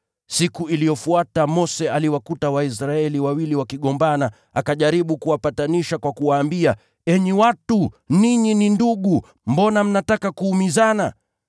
Siku iliyofuata Mose aliwakuta Waisraeli wawili wakigombana, akajaribu kuwapatanisha kwa kuwaambia, ‘Enyi watu, ninyi ni ndugu, mbona mnataka kudhulumiana?’